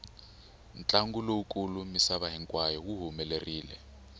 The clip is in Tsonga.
ntlangu lowu kulu misava hinkwayo wu humelerile